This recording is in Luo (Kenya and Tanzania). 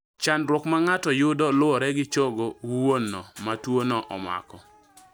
Chandruok ma ng'ato yudo luore gi chogo wuono ma tuo no omako